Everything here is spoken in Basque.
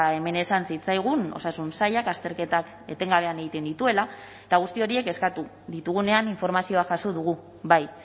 hemen esan zitzaigun osasun sailak azterketak etengabean egiten dituela eta guzti horiek eskatu ditugunean informazioa jaso dugu bai